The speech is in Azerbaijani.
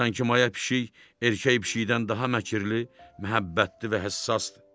Sanki maya pişik erkək pişikdən daha məkirli, məhəbbətli və həssasdı.